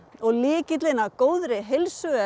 og lykillinn að góðri heilsu er